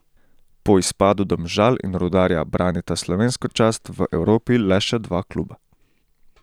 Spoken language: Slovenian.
Po izpadu Domžal in Rudarja branita slovensko čast v Evropi le še dva kluba.